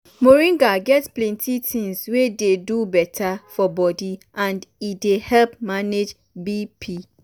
moringa get plenty things wey dey do beta for body and e dey help manage bp.